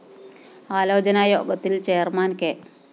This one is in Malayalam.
ആലോചനാ യോഗത്തില്‍ ചെയർമാൻ കെ